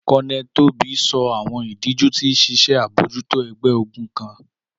Colonel Tobi sọ awọn idiju ti ṣiṣe abojuto ẹgbẹ-ogun kan.